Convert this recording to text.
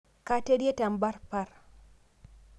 Katerie temparpar